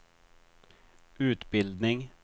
utbildning